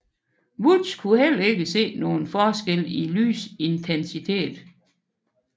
Woods kunne heller ikke her se nogen forskel i lysintensitet